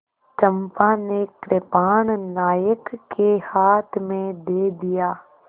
चंपा ने कृपाण नायक के हाथ में दे दिया